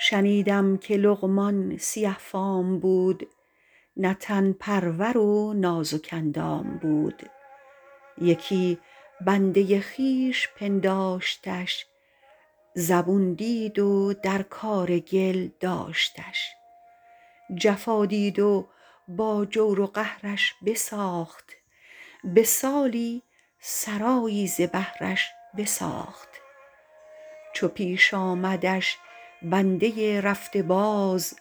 شنیدم که لقمان سیه فام بود نه تن پرور و نازک اندام بود یکی بنده خویش پنداشتش زبون دید و در کار گل داشتش جفا دید و با جور و قهرش بساخت به سالی سرایی ز بهرش بساخت چو پیش آمدش بنده رفته باز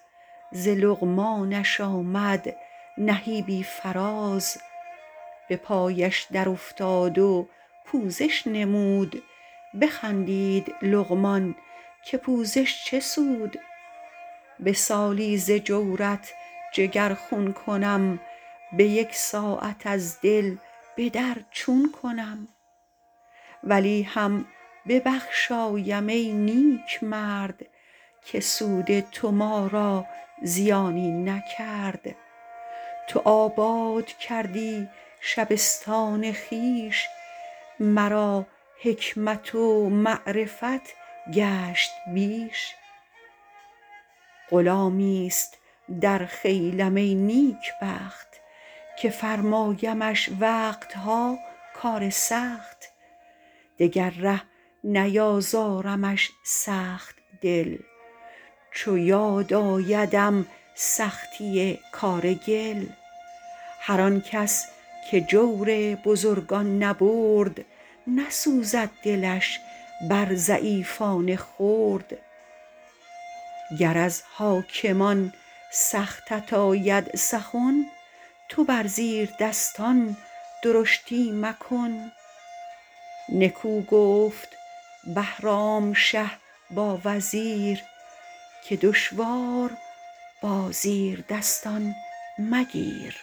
ز لقمانش آمد نهیبی فراز به پایش در افتاد و پوزش نمود بخندید لقمان که پوزش چه سود به سالی ز جورت جگر خون کنم به یک ساعت از دل به در چون کنم ولی هم ببخشایم ای نیک مرد که سود تو ما را زیانی نکرد تو آباد کردی شبستان خویش مرا حکمت و معرفت گشت بیش غلامی است در خیلم ای نیک بخت که فرمایمش وقت ها کار سخت دگر ره نیازارمش سخت دل چو یاد آیدم سختی کار گل هر آن کس که جور بزرگان نبرد نسوزد دلش بر ضعیفان خرد گر از حاکمان سختت آید سخن تو بر زیردستان درشتی مکن نکو گفت بهرام شه با وزیر که دشوار با زیردستان مگیر